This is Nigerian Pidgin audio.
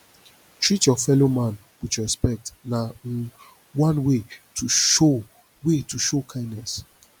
treat your fellow man with respect na um one way to show way to show kindness